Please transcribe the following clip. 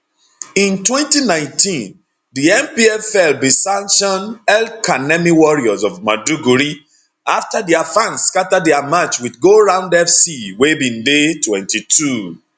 in 2019 di npfl bi santion elkanemi warriors of maiduguri afta dia fans skata dia match wit goround fc wey bin dey 22